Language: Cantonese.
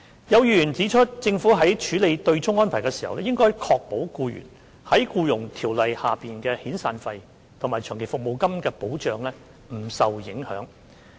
有議員指出，政府在處理對沖安排的同時，應確保僱員在《僱傭條例》下的遣散費及長期服務金不受影響。